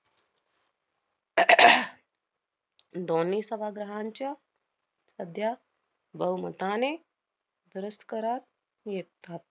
दोन्ही सभाग्रहांच्या मध्यात बहुमताने करात येतात.